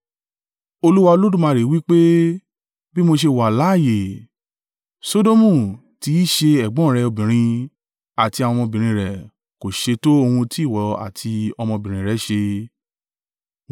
Olúwa Olódùmarè wí pé, “Bí mo ṣe wà láààyè, Sodomu tí í ṣe ẹ̀gbọ́n rẹ obìnrin àti àwọn ọmọbìnrin rẹ̀ kò ṣe to ohun tí ìwọ àti ọmọbìnrin rẹ ṣe.”